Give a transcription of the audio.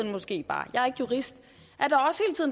måske bare jeg er ikke jurist